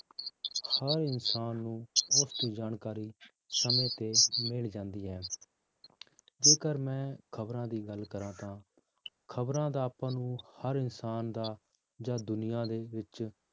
ਹਰ ਇਨਸਾਨ ਨੂੰ ਬਹੁਤ ਹੀ ਜਾਣਕਾਰੀ ਸਮੇਂ ਤੇ ਮਿਲ ਜਾਂਦੀ ਹੈ ਜੇਕਰ ਮੈਂ ਖ਼ਬਰਾਂ ਦੀ ਗੱਲ ਕਰਾਂ ਤਾਂ ਖ਼ਬਰਾਂ ਦਾ ਆਪਾਂ ਨੂੰ ਹਰ ਇਨਸਾਨ ਦਾ ਜਾਂ ਦੁਨੀਆਂ ਦੇ ਵਿੱਚ